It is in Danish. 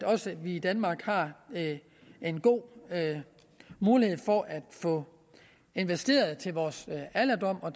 også i danmark har en god mulighed for at få investeret til vores alderdom og